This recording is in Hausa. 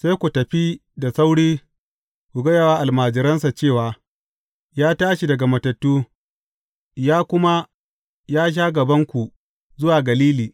Sai ku tafi da sauri ku gaya wa almajiransa cewa, Ya tashi daga matattu, ya kuma ya sha gabanku zuwa Galili.